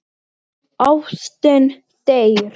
Og læddist aftan að honum.